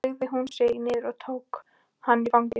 Þá beygði hún sig niður og tók hann í fangið.